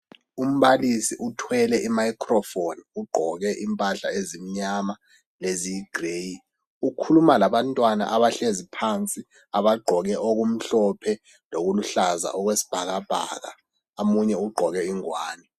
Umbalisi uthwele imicrofoni ugqoke impahla ezimnyama leziyigireyi ukhuluma labantwana abahlezi phansi abagqoke okumhlophe lokuluhlaza okwesibhakabhaka omunye ugqoke igwane.